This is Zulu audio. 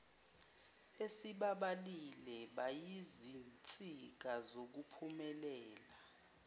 esibabalile bayizinsika zokuphumelela